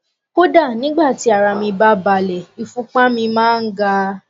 kódà nígbà tí ara mí bá balẹ ìfúnpá mi máa ń ga